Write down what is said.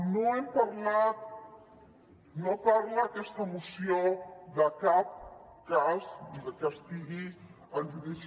no hem parlat no parla aquesta moció de cap cas que estigui en judici